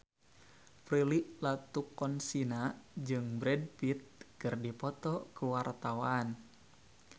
Prilly Latuconsina jeung Brad Pitt keur dipoto ku wartawan